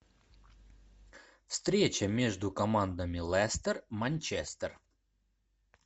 встреча между командами лестер манчестер